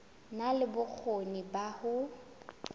na le bokgoni ba ho